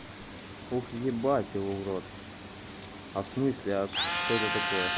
ух ебать его в рот а в смысле а что это такое